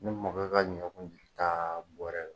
Ne mɔkɛ ka ɲɔ kun tɛ ta bɔrɛ la.